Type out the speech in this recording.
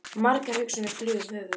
Margar hugsanir flugu um höfuð mér.